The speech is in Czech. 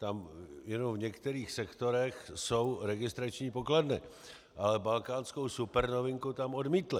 Tam jenom v některých sektorech jsou registrační pokladny, ale balkánskou supernovinku tam odmítli.